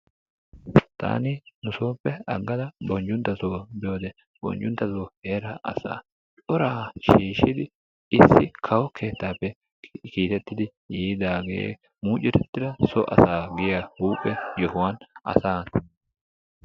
Taani nusoope agada Bonjunttasso biyode Bonjuntason heeraa asaa coraa shiishshidi kawo keettaappe kiitettidi yiidaagee mucuretida so asaa giya huphphee yohuwan asaa..